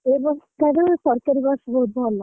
ଏ bus ଠାରୁ ସରକାରୀ bus ବହୁତ ଭଲ।